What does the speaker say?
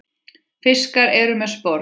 Fiskar eru með sporð.